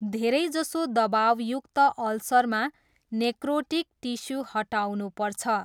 धेरैजसो दबाउयुक्त अल्सरमा नेक्रोटिक टिस्यू हटाउनुपर्छ।